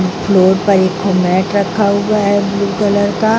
floor पर एक mat रखा हुआ है ब्लू कलर का --